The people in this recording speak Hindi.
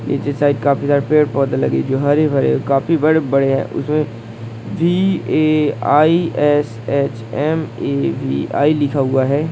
खिड़की साइड बहुत सरे पेड़--